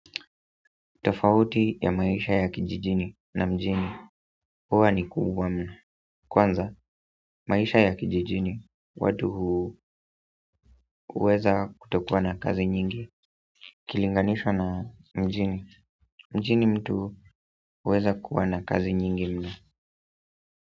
Tofauti ya maisha ya kijijini na mjini huwa ni kubwa mno kwanza, maisha ya kijijini watu huweza kutokuwa na kazi nyingi ikilinganishwa na mjini mjini mtu huweza kuwa na kazi nyingi mno.